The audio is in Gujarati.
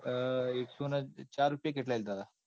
એકસો ન ચાર રૂપિયે કે એટલાંયે લીધા હતા.